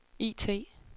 IT